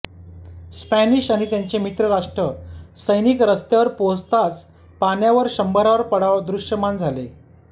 Spanish आणि त्यांचे मित्रराष्ट्र सैनिक रस्त्यावर पोहोचताच पाण्यावर शंभरावर पडाव दृश्यमान झाले